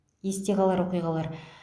есте қалар оқиғалар